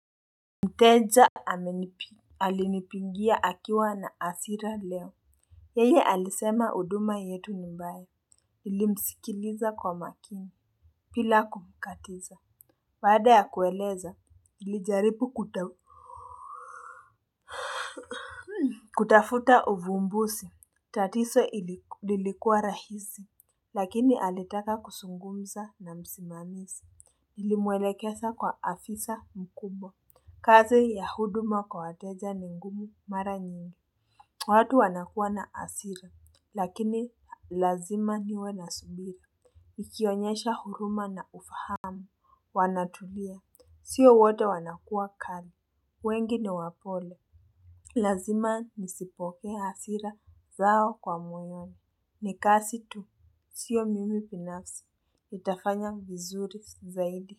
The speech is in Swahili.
Mteja amenipi alinipigia akiwa na asira leo yeye alisema uduma yetu ni mbaya nilimsikiliza kwa makini pila kumkatiza baada ya kueleza nilijaripu kutafuta uvumbusi tatiso lilikuwa rahisi lakini alitaka kusungumza na msimamisi nilimwelekesa kwa afisa mkubwa kazi ya huduma kwa wateja ni ngumu mara nyingi. Watu wanakua na asira, lakini lazima niwe na subira. Nikionyesha huruma na ufahamu. Wanatulia. Sio wote wanakua kali. Wengi ni wapole. Lazima nisipoke asira zao kwa mwenye. Nikasi tu. Sio mimi pinafsi. Itafanya vizuri zaidi.